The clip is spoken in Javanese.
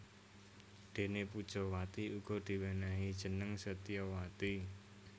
Déné Pujawati uga diwènèhi jeneng Setyawati